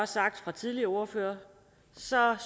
sagt af tidligere ordførere